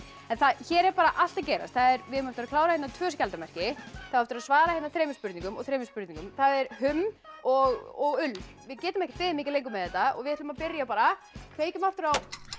hér er bara allt að gerast við eigum eftir að klára tvö skjaldarmerki það á eftir að svara hérna þremur spurningum og þremur spurningum það er humm og ull við getum ekki beðið mikið lengur með þetta við ætlum að byrja bara kveikjum aftur á